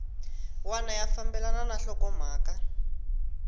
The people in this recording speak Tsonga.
wana ya fambelana na nhlokomhaka